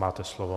Máte slovo.